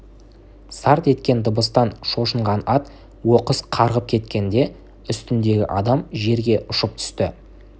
сарт еткен дыбыстан шошынған ат оқыс қарғып кеткенде үстіндегі адам жерге ұшып түсті